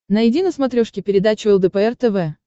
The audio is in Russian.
найди на смотрешке передачу лдпр тв